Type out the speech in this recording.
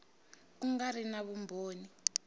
ku nga ri na vumbhoni